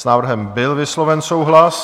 S návrhem byl vysloven souhlas.